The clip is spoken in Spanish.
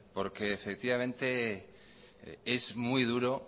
porque efectivamente es muy duro